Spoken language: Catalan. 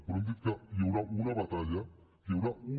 però hem dit que hi haurà una batalla que hi haurà una